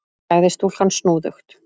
sagði stúlkan snúðugt.